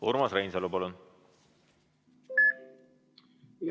Urmas Reinsalu, palun!